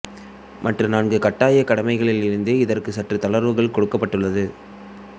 மற்ற நான்கு கட்டாய கடமைகளில் இருந்து இதற்கு சற்று தளர்வு கொடுக்கப்பட்டுள்ளது